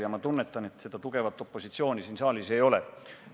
Ja ma tunnetan, et seda tugevat opositsiooni siin saalis ei ole.